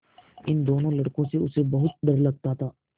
इन दोनों लड़कों से उसे बहुत डर लगता था